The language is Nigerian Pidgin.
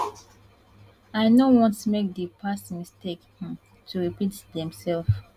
i no want make di past mistakes um to repeat themselves